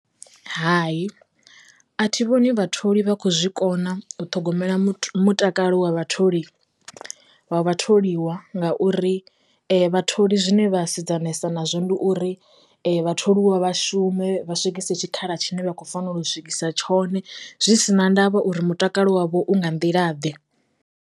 Hai a thi vhoni vha tholi vha kho zwikona u ṱhogomela muthu mutakalo wa vha tholi vha vha tholiwa ngauri vha tholi zwine vha sedzana nazwo ndi uri vha tholiwa vhashume vha swikise tshikhala tshine vha khou fanela u swikisa tshone zwi sina ndavha uri mutakalo wavho u nga nḓila ḓe.